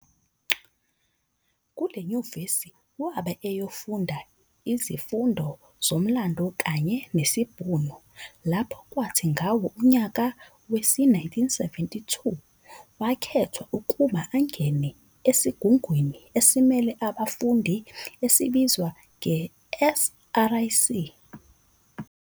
Kule nyuvesi wabe eyofunda isizfundo zoMlando kanye Nesibhunu lapho kwathi ngawo unyaka we-1972 wakethwa ukuba angene esigungwini esimele abafundi, esibizwa nge-"SRC".